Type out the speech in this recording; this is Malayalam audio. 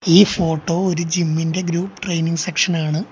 ഈ ഫോട്ടോ ഒരു ജിം ഇൻ്റെ ഗ്രൂപ്പ് ട്രെയിനിങ് സെക്ഷൻ ആണ്.